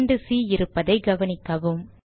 இரண்டு சி இருப்பதை கவனிக்கவும்